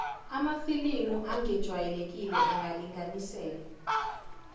amafilimi angejwayelekile angalinganiselwa